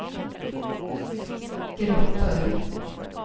grupper